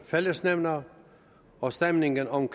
fællesnævner og stemningen om